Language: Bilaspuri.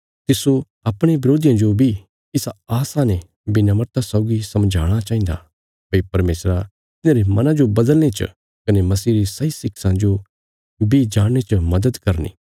तिस्सो अपणे बरोधियां जो बी इसा आशा ने विनम्रता सौगी समझाणा चाहिन्दा भई परमेशरा तिन्हांरे मना जो बदलने च कने मसीह री सही शिक्षां जो बी जाणने च मदद करनी